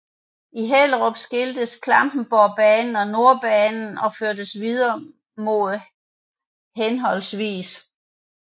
I Hellerup skiltes Klampenborgbanen og Nordbanen og førtes videre mod hhv